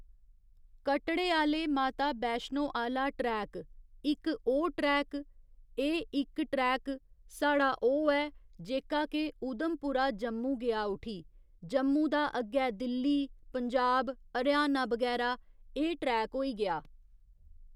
कटड़े आहले माता बैशनो आहला ट्रेक इक ओह् ट्रैक एह् इक ट्रैक साढ़ा ओह् ऐ जेह्का के उधमपुरा जम्मू गेआ उठी जम्मू दा अग्गै दिल्ली पजांब हरियाणा बगैरा एह् ट्रैक होई गेआ